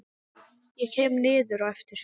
Ég kem niður á eftir.